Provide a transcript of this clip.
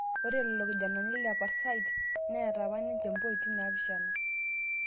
Ore lelo kijanani le Parsait neeta apa ninje pointi 7